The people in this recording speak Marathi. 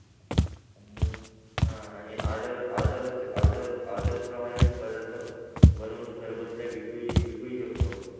आणि आह आणि order order order order प्रमाणे म्हणजे पदार्थ बनवून घरबसल्या विकू ही विकू ही शकतो.